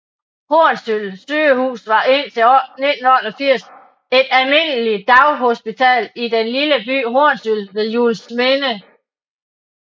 Hornsyld Sygehus var et indtil 1988 et almindeligt daghospital i den lille by Hornsyld ved Juelsminde